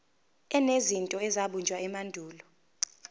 enezinto ezabunjwa emandulo